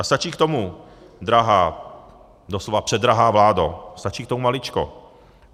A stačí k tomu, drahá - doslova předrahá vládo - stačí k tomu maličko.